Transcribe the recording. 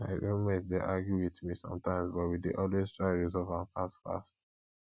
my roommate dey argue with me sometimes but we dey always try resolve am fast fast